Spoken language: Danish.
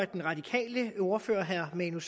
den radikale ordfører herre manu